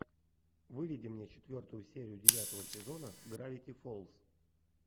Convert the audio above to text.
выведи мне четвертую серию девятого сезона гравити фолс